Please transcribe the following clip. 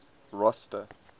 rosta